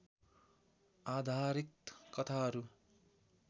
आधारित कथाहरू